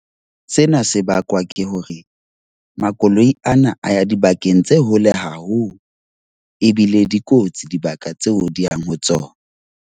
Sena se bakwa ke hore makoloi ana a ya dibakeng tse hole haholo. Ebile dikotsi dibaka tseo di yang ho tsona.